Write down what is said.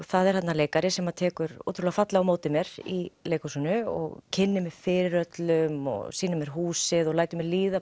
það er þarna leikari sem tekur ótrúlega fallega á móti mér í leikhúsinu og kynnir mig fyrir öllum og sýnir mér húsið og lætur mér líða